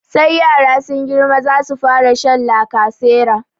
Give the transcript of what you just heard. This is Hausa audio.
Sai yara sun girma za su fara sha lacasera.